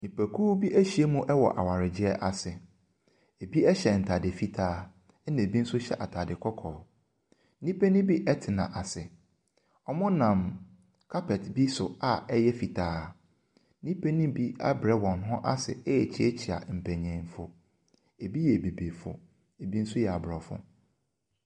Nnipakuo bi ahyia mu wɔ awaregyeɛ ase . Ebi ɛhyɛ ntaade fitaa ɛna ebi nso hyɛ ataade kɔkɔɔ. Nnipa no bi ɛtena ase. Wɔnam carpet bi so a ɛyɛ fitaa. Nnipa nom bi abrɛ wɔn ase ɛrekyiakyia mpanyinfo. Ebi abibifo, ebi nso yɛ abrɔfo.